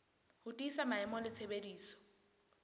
ho tiisa maemo le tshebediso